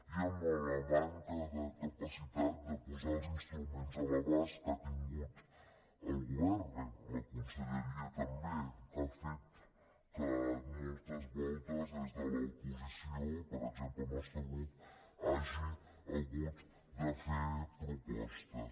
i en la manca de capacitat de posar els instruments a l’abast que ha tingut el govern bé la conselleria també que ha fet que moltes voltes des de l’oposició per exemple el nostre grup hagi hagut de fer propostes